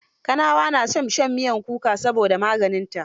Kanawa na son shan mitmyar kuka saboda maganinta.